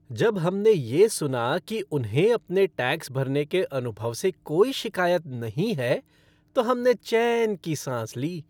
जब हमने ये सुना कि उन्हें अपने टैक्स भरने के अनुभव से कोई शिकायत नहीं है, तो हमने चैन की सांस ली।